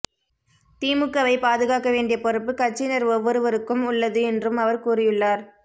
திமுகவை பாதுகாக்க வேண்டிய பொறுப்பு கட்சியினர் ஒவ்வொருவருக்கும் உள்ளது என்றும் அவர் கூறியுள்ளார்